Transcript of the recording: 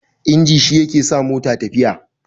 inji shi yake sa mota tafiya